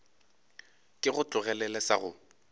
ke go tlogelele sa go